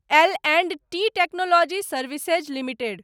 L and T technology services limited